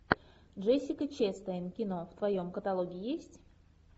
джессика честейн кино в твоем каталоге есть